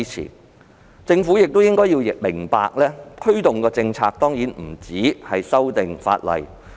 可是，政府亦要明白，推動政策的工作當然不止於修訂法例。